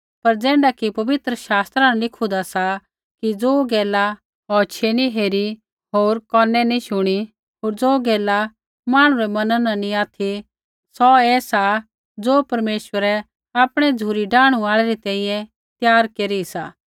पर ज़ैण्ढा कि पवित्र शास्त्रा न लिखूंदा सा कि ज़ो गैला औछियै नैंई हेरू होर कोनै नैंई शुणु होर ज़ो गैला मांहणु रै मैना न नैंई ऑथि सौ ऐ सा ज़ो परमेश्वरै आपणै झ़ुरी डाहणु आल़ै री तैंईंयैं त्यार केरी सा